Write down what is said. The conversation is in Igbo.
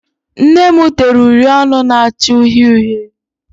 Nne m tere uri ọnụ na-acha uhie uhie.